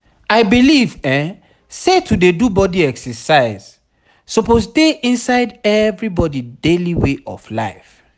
i believe say to dey do body exercise suppose dey inside everybody daily way of life.